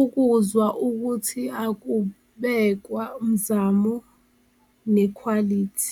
ukuzwa ukuthi akubekwa mzamo nekhwalithi.